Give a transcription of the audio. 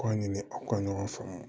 K'a ɲini aw ka ɲɔgɔn faamu